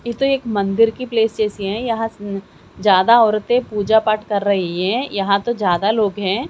ये तो एक मंदिर की प्लेस जैसी है यहां ज्यादा औरतें पूजा पाठ कर रही हैं यहां तो ज्यादा लोग हैं।